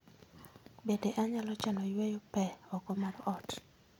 Bende anyalo chano yweyo pee oko mar ot